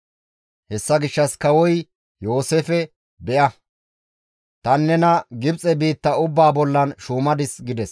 Hessa gishshas kawoy Yooseefe, «Beya! Tani nena Gibxe biitta ubbaa bollan shuumadis» gides.